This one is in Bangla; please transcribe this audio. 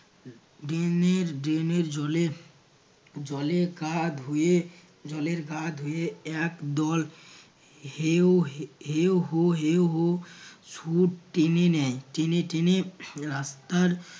drain এর drain এর জলে জলে গা ধুয়ে জলের গা ধুয়ে এক দল হেউ হু হেউ হু সুর টেনে টেনে রাস্তার